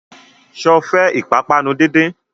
Sọ fẹ́ ìpápánu díndín?